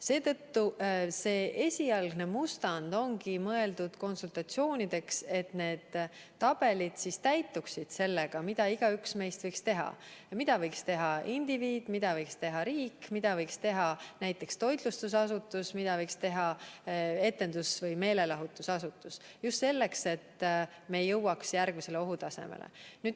Seetõttu see esialgne mustand ongi mõeldud konsultatsioonideks, et need tabelid siis täituksid sellega, mida igaüks meist võiks teha – mida võiks teha indiviid, mida võiks teha riik, mida võiks teha näiteks toitlustusasutus, mida võiks teha etendus- või meelelahutusasutus –, just selleks, et me ei jõuaks järgmisele ohutasemele.